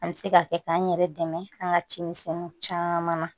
An bɛ se ka kɛ k'an yɛrɛ dɛmɛ an ka cimisɛnninw caman na